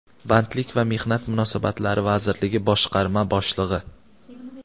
Bandlik va mehnat munosabatlari vazirligi boshqarma boshlig‘i.